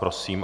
Prosím.